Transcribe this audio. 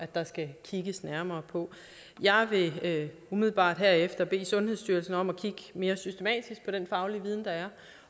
der skal kigges nærmere på jeg vil umiddelbart herefter bede sundhedsstyrelsen om at kigge mere systematisk på den faglige viden der er